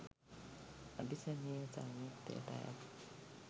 අභිසමය සංයුත්තයට අයත්